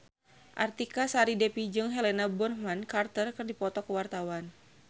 Artika Sari Devi jeung Helena Bonham Carter keur dipoto ku wartawan